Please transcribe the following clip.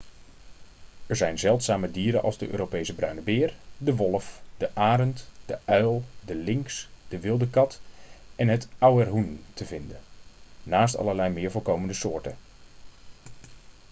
er zijn zeldzame dieren als de europese bruine beer de wolf de arend de uil de lynx de wilde kat en het auerhoen te vinden naast allerlei meer voorkomende soorten